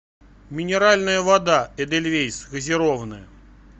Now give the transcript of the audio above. минеральная вода эдельвейс газированная